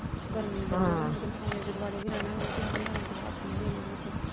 ਗਰਮੀ ਬਹੁਤ ਏ ਤੇ ਨਿਆਣਿਆਂ ਦੇ ਦੁਆਲੇ ਵੀ ਰਹਿਣਾ ਪੈਣਾ ਅਤੇ ਕੋਈ ਹੱਥ ਨਾ ਦੇ ਲੈ ਵਿੱਚ।